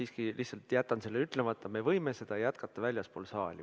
Me võime seda jätkata väljaspool saali.